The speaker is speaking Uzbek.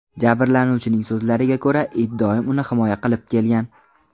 Jabrlanuvchining so‘zlariga ko‘ra, it doim uni himoya qilib kelgan.